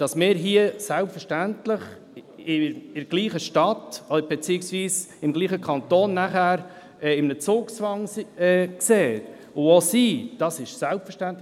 Dass wir uns hier in derselben Stadt beziehungsweise in demselben Kanton unter Zugzwang setzen und es auch sind, ist für mich selbstverständlich.